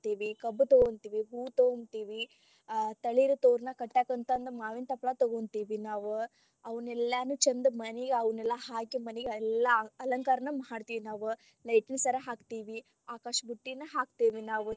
ಕಬ್ಬು ತೊಗೊಂತೇವಿ ಹೂವು ತೊಗೊಂತೇವಿ ಆ ತಳಿರು ತೋರಣ ಕಟ್ಟಕಂತಂದ ಮಾವಿನ ತಪಲ ತೊಗೊಂತೇವಿ ನಾವ್ ಅವನೆಲ್ಲಾನು ಚಂದ ಮನಿಗ ಅವನ್ನೆಲ್ಲ ಹಾಕಿ ಮನಿಯೆಲ್ಲಾ ಅಲಂಕಾರನು ಮಾಡ್ತಿವ್ ನಾವ್ light ಸರಾ ಹಾಕ್ತೆವಿ, ಆಕಾಶಬುಟ್ಟಿ ಹಾಕ್ತೆವಿ ನಾವ್.